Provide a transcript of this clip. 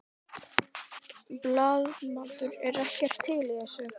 Blaðamaður: Er ekkert til í þessu?